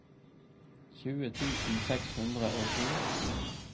tjue tusen seks hundre og to